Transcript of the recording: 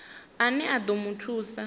ane a ḓo mu thusa